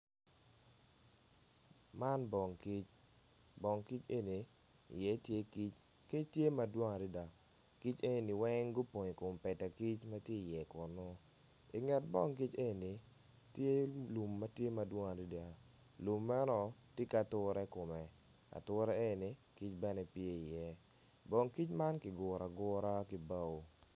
Man bong kic bong kic eni iye tye kic, kic tye madwong adada kic engini weng gupong ikoom peta kic matye i iye kunu inget bong kic eni tye lum matye madwong adada lum meno tye ki ature ikome ature eni kic bene pye i iye bong kic man kiguru agura ki bao